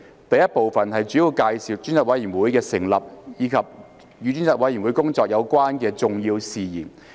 第 I 部分主要介紹專責委員會的成立，以及與專責委員會工作有關的重要事宜。